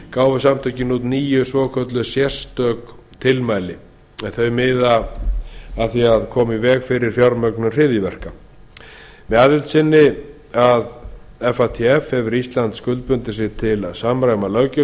gáfu fatf út níu svo kölluð sérstök tilmæli en þau miða að því að koma í veg fyrir fjármögnun hryðjuverka með aðild sinni að fatf hefur ísland skuldbundið sig til að samræma löggjöf